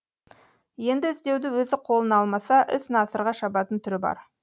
енді іздеуді өзі қолына алмаса іс насырға шабатын түрі бар